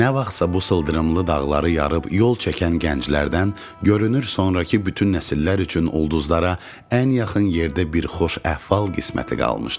Nə vaxtsa bu sıldırımlı dağları yarıb yol çəkən gənclərdən görünür sonrakı bütün nəsillər üçün ulduzlara ən yaxın yerdə bir xoş əhval qisməti qalmışdı.